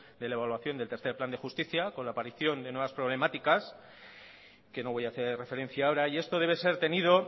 de la evaluación del tercer plan de justicia con la aparición de nuevas problemáticas que no voy a hacer referencia ahora y esto debe ser tenido